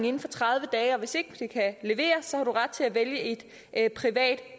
inden for tredive dage og hvis ikke det kan leveres har man ret til at vælge et privat